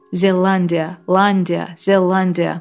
Zelandia, Landia, Zelandia.